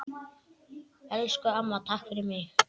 Elsku amma, takk fyrir mig.